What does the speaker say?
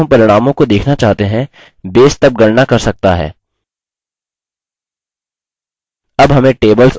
क्योंकि जब हम परिणामों को देखना चाहते हैं base तब गणना कर सकता है